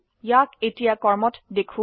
ইয়াক এতিয়া কর্মত দেখো